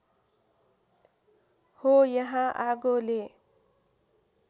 हो यहाँ आगोले